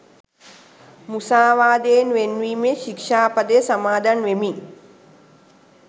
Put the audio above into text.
මුසාවාදයෙන් වෙන්වීමේ ශික්‍ෂා පදය සමාදන් වෙමි